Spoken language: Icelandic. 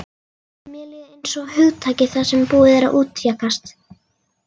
Mér líður einsog hugtaki sem búið er að útjaska.